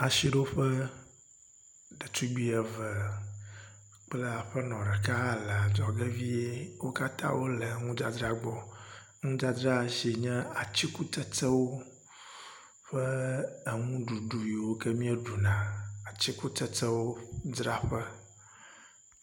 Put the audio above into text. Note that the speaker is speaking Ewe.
asiɖoƒe ɖetugbi eve kple aƒenɔ ɖeka hã le adzɔge vie wókatã wóle ŋudzadzra gbɔ ŋudzadzra siwó nye atsukutsetsewo kple eŋuɖuɖu yiwo mi ɖuna kple atsikutsetsewo